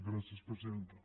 gràcies presidenta